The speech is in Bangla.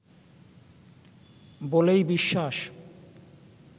বলেই বিশ্বাস